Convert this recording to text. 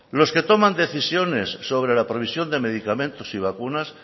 los que toman decisiones sobre la provisión de medicamentos y vacunas